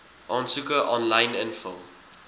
aansoeke aanlyn invul